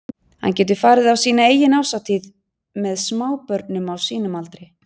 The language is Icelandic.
Hann getur farið á sína eigin árshátíð með smábörnum á sínum aldri.